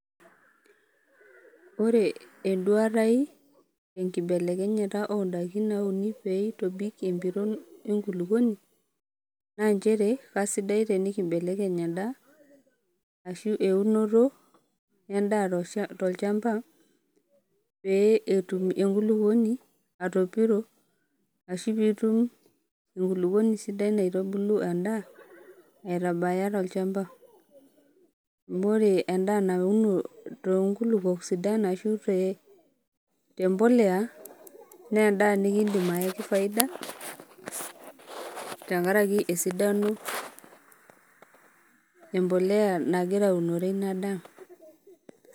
Ore enduata aai enkibelekenyata oondaiki nauni peitobik empiron enkuluponi naa inchere kesidai tenikimbelekeny endaa ashu eunoto endaa tolchamba pee etum enkuluponi atopiro ashu piitum enkuluponi sidai naitubulu endaa aitabaya tolchamba, amu ore endaa nauno too inkulupo sidan qshubte impolea naa endaa nikindim aiyaki ifaida tengaraki esidano embolea nagira aunore ina daa.